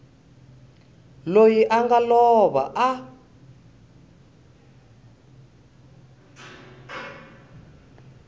loyi a nga lova a